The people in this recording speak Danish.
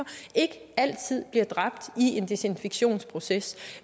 ikke altid bliver dræbt i en desinfektionsproces